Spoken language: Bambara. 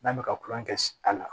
N'an bɛ ka kulon kɛ a la